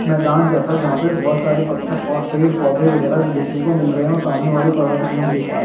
मैदान जैसा जहाँ पे बहुत सारे पत्थर और पेड़-पौधे वगेरा देखने को मिल रहे है और सामने वाली पर्वत भी हम देख पारे--